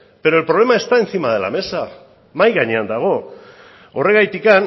pero el problema está encima de la mesa mahai gainean dago horregatik